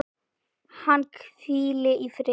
Hann hvíli í friði.